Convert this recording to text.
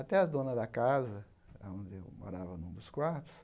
Até a dona da casa, aonde eu morava, em um dos quartos,